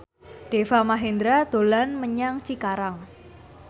Deva Mahendra dolan menyang Cikarang